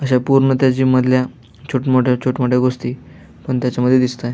अशा त्या पूर्ण त्या जीम मधल्या छोट मोठ्या छोट मोठी गोष्टी त्या मध्ये दिसतंय.